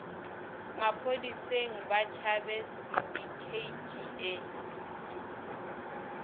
maphodiseng ba tšhabe sindikheiti e